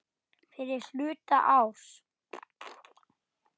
Fyrri hluta árs.